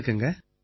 வணக்கங்க